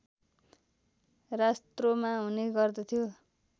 रास्त्रोमा हुने गर्दथ्यो